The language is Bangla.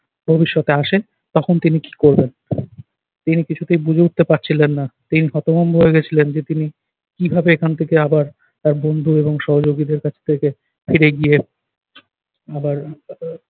ভবিষ্যতে আসে তখন তিনি কী করবেন। তিনি কিছুতেই বুঝে উঠতে পারছিলেন না। তিনি হতভম্ব হয়ে গেছিলেন যে তিনি কিভাবে এখান থেকে আবার তার বন্ধু এবং সহযোগীদের কাছে ফিরবে। ফিরে গিয়ে আবার